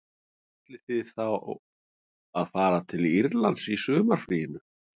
Ætlið þið þá að fara til Írlands í sumarfríinu